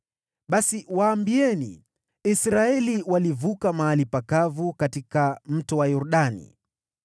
Basi waambieni, ‘Israeli ilivukia mahali pakavu katika Mto Yordani.’